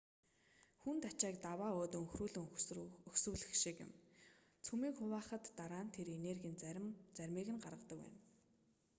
хүнд ачааг даваа өөд өнхрүүлэн өгсүүлэх шиг юм цөмийг хуваахад дараа нь тэр энергийн заримыг гаргадаг байна